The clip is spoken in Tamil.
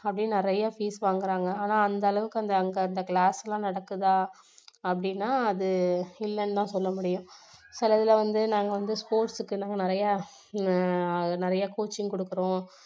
அப்படி நிறைய fees வாங்குறாங்க ஆனா அந்த அளவுக்கு அங்க அந்த class லாம் நடக்குதா அப்படின்னா அது இல்லன்னு தான் சொல்ல முடியும் சில இதுல வந்து நாங்க வந்து sports க்கு எல்லாம் நிறைய ஹம் நிறைய coaching கொடுக்குறோம்